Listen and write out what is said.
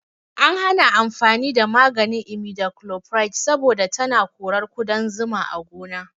An hana amfani da maganin imidachlopride saboda tana korar ƙudan zuma a gona